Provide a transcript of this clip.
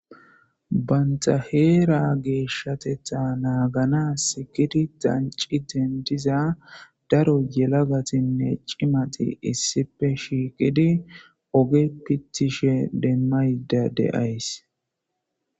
baynta heera geeshshatetha naagana sikidi danci dendiza daro yelagatinne cimati issife shiiqidi oge pittishe demmayda de'as